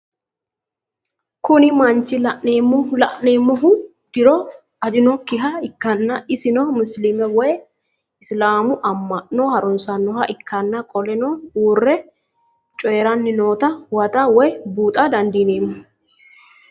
Kuni mannich la'nemohu diro ajinokiha ikana isino musilime woyi isilamu ama'no harunsanoha ikana qoleno uure coyirani nootano huwata woyi buuxa dandinemo